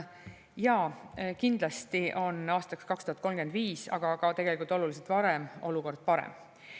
Jaa, kindlasti on aastaks 2035, tegelikult isegi oluliselt varem olukord parem.